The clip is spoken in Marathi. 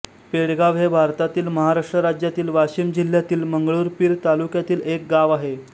पेडगाव हे भारतातील महाराष्ट्र राज्यातील वाशिम जिल्ह्यातील मंगरुळपीर तालुक्यातील एक गाव आहे